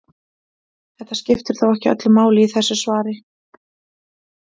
Þetta skiptir þó ekki öllu máli í þessu svari.